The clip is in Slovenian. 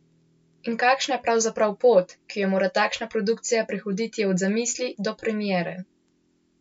In kakšna je pravzaprav pot, ki jo mora takšna produkcija prehoditi od zamisli do premiere?